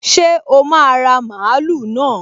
Ṣé o máa ra mààúlù náà?